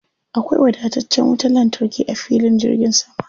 Akwai wadataccen wutar lantarki a filin jirgin sama.